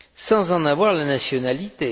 sans en avoir la nationalité.